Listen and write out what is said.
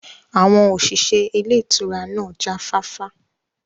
Àwọn òṣìṣẹ́ ilé ìtura náà jáfáfá